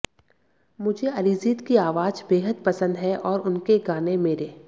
मुझे अरिजित की आवाज बेहद पसंद है और उनके गाने मेरे